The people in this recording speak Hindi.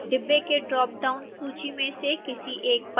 डिब्बे की ड्रॉप डाउन सूची में से किसी एक पर क्लिक करें